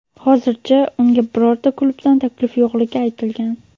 Hozircha unga birorta klubdan taklif yo‘qligi aytilgan.